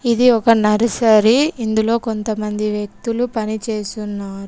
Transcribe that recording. ఇది ఒక నర్సరీ . ఇందులో కొంతమంది వ్యక్తులు పనిచేస్తున్నారు.